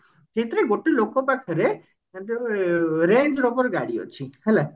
ସେଇଥିରେ ଗୋଟେ ଲୋକ ପାଖରେ ଏ range rover ଗାଡି ଅଛି ହେଲା